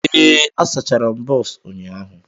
Ee, asachara m bọs ụnyahụ.